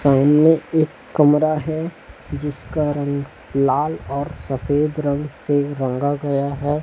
सामने एक कमरा है जिसका रंग लाल और सफेद रंग से रंगा गया है।